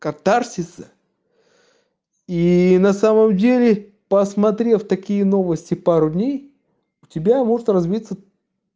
катарсис и на самом деле посмотрев такие новости пару дней у тебя может развиться